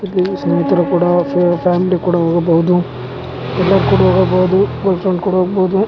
ಇಲ್ಲಿ ಸ್ನೆಹಿತ್ರು ಕೂಡ ಫ್ಯಾಮಿಲಿ ಕೂಡ ಹೋಗಬಹುದು ಅಲ್ಲಿ ಕೂಡ ಹೋಗಬಹುದು ಬಸ್ ಅಲ್ಲಿ ಕೂಡ ಹೋಗಬಹುದು .